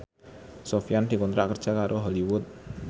Sofyan dikontrak kerja karo Hollywood